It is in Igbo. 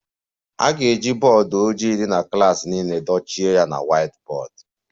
A ga-eji bọọdụ ojii dị na klas niile dochie ya na whiteboard